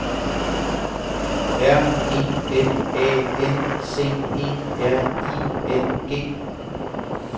R E L A N C E R I N G